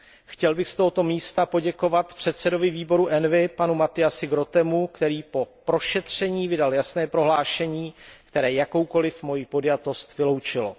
Chtěl bych z tohoto místa poděkovat předsedovi výboru ENVI panu Matthiasovi Grootemu, který po prošetření vydal jasné prohlášení, které jakoukoliv moji podjatost vyloučilo.